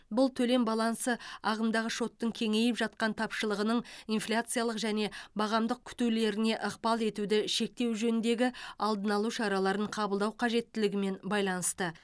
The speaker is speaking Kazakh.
бұл төлем балансы ағымдағы шотының кеңейіп жатқан тапшылығының инфляциялық және бағамдық күтулеріне ықпал етуді шектеу жөніндегі алдын алу шараларын қабылдау қажеттілігімен байланысты